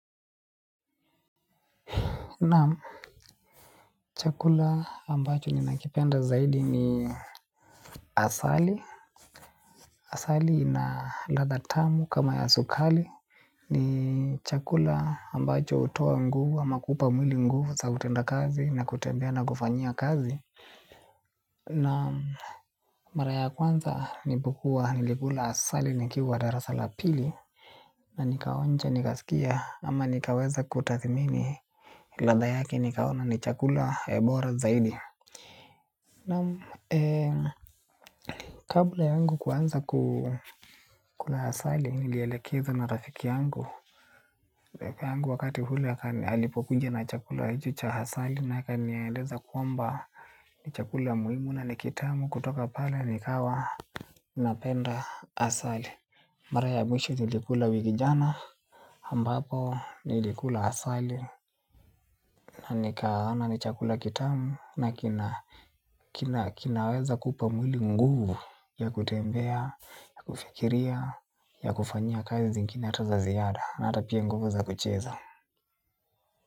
Naam, chakula ambacho nina kipenda zaidi ni asali. Asali na ladha tamu kama ya sukari ni chakula ambacho hutoa nguvu ama kupamili nguvu za utenda kazi na kutendea na kufanya kazi. Na, mara ya kwanza nilipokua nilikula asali nikiwa darasa la pili na nikaonja, nikasikia ama nikaweza kutathmini ladha yake nikaona ni chakula bora zaidi na kabla yangu kuanza kukula asali nilielekezwa na rafiki yangu. Wakati ule alipokuja na chakula hiki cha asali na akaniaeleza kuwamba ni chakula muhimu na ni kitamu kutoka pale nikawa napenda asali. Mara ya mwisho nilikula ni jana ambapo nilikula asali na nikaona ni chakula kitamu na kinaweza kupa mwili nguvu ya kutembea, ya kufikiria, ya kufanya kazi zingine hata za ziada na hata pia nguvu za kucheza.